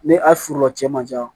Ni a forola cɛn man ca